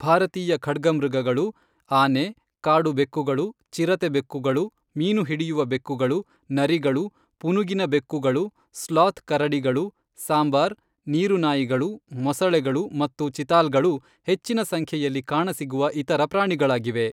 ಭಾರತೀಯ ಖಡ್ಗಮೃಗಗಳು, ಆನೆ, ಕಾಡು ಬೆಕ್ಕುಗಳು, ಚಿರತೆ ಬೆಕ್ಕುಗಳು, ಮೀನುಹಿಡಿಯುವ ಬೆಕ್ಕುಗಳು, ನರಿಗಳು, ಪುನುಗಿನ ಬೆಕ್ಕುಗಳು, ಸ್ಲಾತ್ ಕರಡಿಗಳು, ಸಾಂಬಾರ್, ನೀರುನಾಯಿಗಳು, ಮೊಸಳೆಗಳು ಮತ್ತು ಚಿತಾಲ್ಗಳು ಹೆಚ್ಚಿನ ಸಂಖ್ಯೆಯಲ್ಲಿ ಕಾಣಸಿಗುವ ಇತರ ಪ್ರಾಣಿಗಳಾಗಿವೆ.